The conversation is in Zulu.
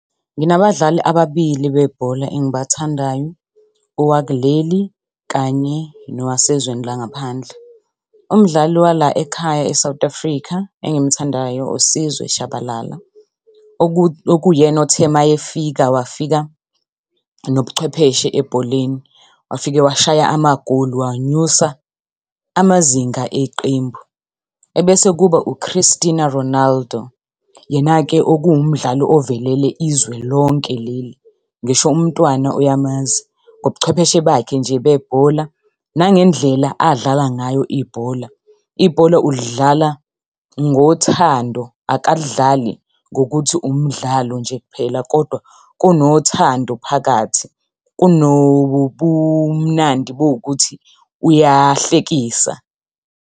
Nginabadlali ababili bebhola engibathandayo, owakuleli kanye nowasezweni langaphandle. Umdlali wala ekhaya e-South Africa engimuthandayo uSizwe Shabalala, okuyena othe uma efika, wafika nobuchwepheshe ebholeni, wafike washaya amagoli wanyusa amazinga eqembu. Ebese kuba u-Christina Ronaldo. Yena-ke okuwumdlali ovelele izwe lonke leli. Ngisho umntwana uyamazi, ngobuchwepheshe bakhe nje bebhola, nangendlela adlala ngayo ibhola. Ibhola ulidlala ngothando, akalidlali ngokuthi umdlalo nje kuphela, kodwa kunothando phakathi, kunobumnandi obuwukuthi uyahlekisa.